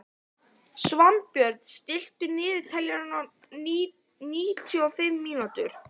Svanbjörn, stilltu niðurteljara á níutíu og fimm mínútur.